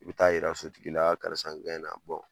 I bɛ taa yira sotigi la karisa n na